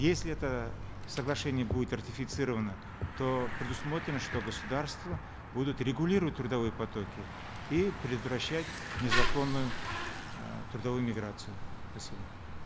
если это соглашение будет ратифицировано то предусмотрено что государства будут регулировать трудовые потоки и предотвращать незаконную э трудовую миграцию спасибо